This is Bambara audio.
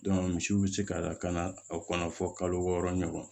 misiw bɛ se ka lakana a kɔnɔ fɔ kalo wɔɔrɔ ɲɔgɔn